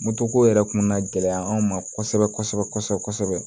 Moto ko yɛrɛ kun na gɛlɛya an ma kosɛbɛ kosɛbɛ